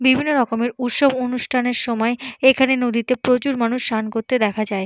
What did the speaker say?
বিভিন্ন রকমের উৎসব অনুষ্ঠানের সময় এইখানে প্রচুর মানুষ স্নান করতে দেখা যায়।